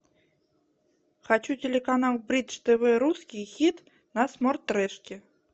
хочу телеканал бридж тв русский хит на смортрешке